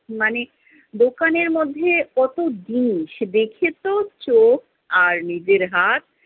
মানে দোকানের মধ্যে কত্ত জিনিস! দেখে তো চোখ আর নিজের হাত